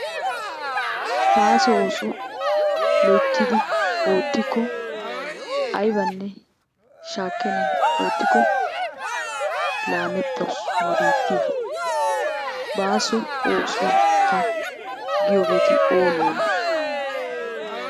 Bàaso oosuwa loyttidi oottikko aybanne shaakkennan oottikko laamettaawus nu biittiya. Baaso ooso giyogeeti oonee oonee ?